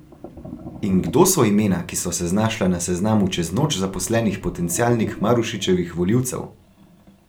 In kdo so imena, ki so se znašla na seznamu čez noč zaposlenih potencialnih Marušičevih volivcev?